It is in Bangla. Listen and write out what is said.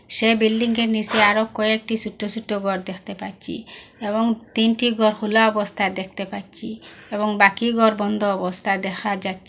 সে বিল্ডিংএর নিচে আরো কয়েকটি ছোট্ট ছোট্ট ঘর দেখতে পাচ্ছি এবং তিনটি ঘর খোলা অবস্থায় দেখতে পাচ্ছি এবং বাকি ঘর বন্ধ অবস্থায় দেখা যাচ্ছে।